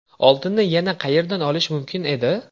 Oltinni yana qayerdan olish mumkin edi?